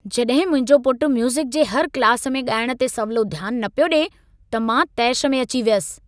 जॾहिं मुंहिंजो पुट म्यूज़िक जे हर क्लास में ॻाइण ते सवलो ध्यान न पियो ॾिए, त मां तैश में अची वयसि।